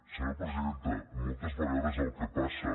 senyora presidenta moltes vegades el que passa